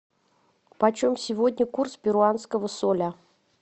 почем сегодня курс перуанского соля